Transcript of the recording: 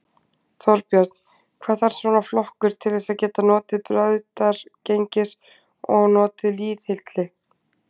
Þorbjörn: Hvað þarf svona flokkur til þess að geta notið brautargengis og notið lýðhylli?